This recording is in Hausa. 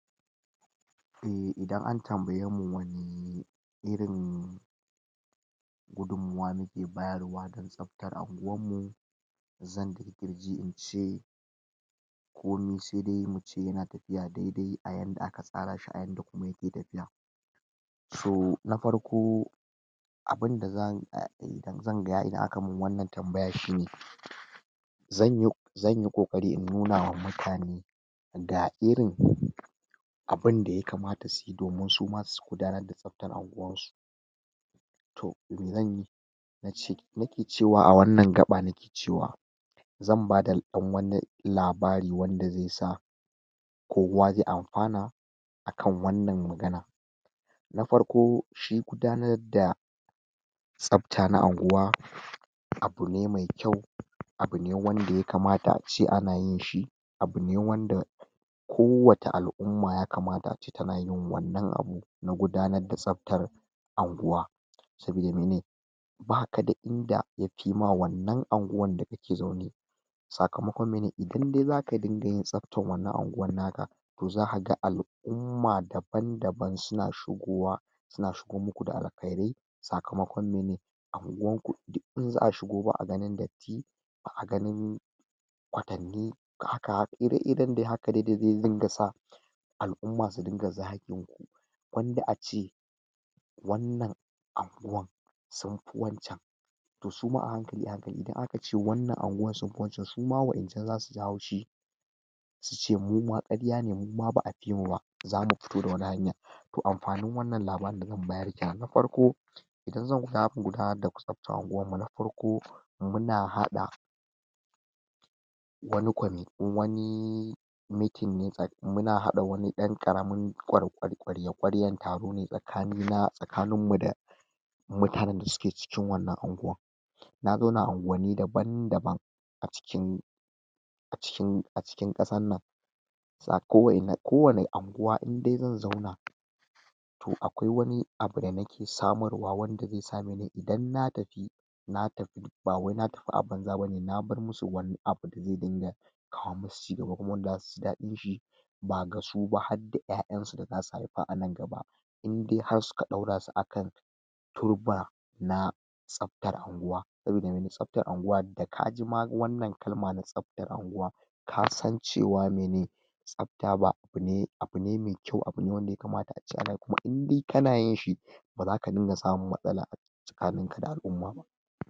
um idan an tambaye mu irin gudunmuwa muke bayarwa autar anguwan mu zan bigi ƙirji ince sai dai muce yana iya daidai a yanda da kuma irinna so na farko abinda zan um zan gaya idan aka min wannan tambaya shine zanyi zanyi koƙari in nuna wa mutane da irin abinda ya kamata suyi domin suma su gudanar da tsaptar anguwansu toh me zanyi nace nake cewa a wanna gaɓa nake cewa zan ɗin wanda labari wanda ze sa kowa ya ampana akan wannan magana na parko shi gudanar da tsapta na anguwa abune mai kyau abune wanda ya kamata a ce ana yin shi abune wanda kowata al'umma ya kamata suna yin wannan abu na gudanar da tsaftar anguwa sabida me baka da daya pima wannan anguwan da ake zaune sakamakon mene inde zaka dinga yin tsaptan wannan anguwan naka toh zakaga al'umma daban-daban suna da kowa suna shigo muku da al khairai sakamakon anguwan ku duk in za'a shigo ba'a ganin datti ba'a ganin kwatanni iri-irin dai haka dai da ze dinga sa al'umma su dinga za wanda wannan anguwan sunpi wancan toh suma a hankali a hankali in aka ji wannan anguwan sunfi wancan suma wa'innan zasu ji haushi suce mumu karyane muma ba'a pi mu ba zamu pito da wani hanya toh ampanin wannan labari da zan bayar kenan na parko idan zan tsaptar anguwan mu na parko muna haɗa wani kwari'u wani muna haɗa wani ɗan karamin em kwaryar taro ne tsakani na tsakanin mu da mutanan da suke cikin wannan anguwan na zauna a anguwanni daban-daban a cikin a cikin a cikin ƙasannan um kowani um kowani anguwa indai zan zauna toh akwai wani abu da nake samar wa wanda ze sani ni idan na tafi na tapi ba wai na tapi a banza bane na bar musu wani abu da ze dinga kawo musu cigaba kuma wanda zasuji daɗin shi ba ga su ba har da ƴaƴansu da zasu haifa a nan gaba indai har suka ɗaura su akan na tsaptar anguwa sabida me tsaptar anguwa a kaji ma wannan kalma na tsaptar anguwa kasan cewa mene abune abune mai kyau abune wnda ya kamata ace anayi kuma indai kana yin shi ba zaka dinga samun matsala a tsakanin ka da al'umma ba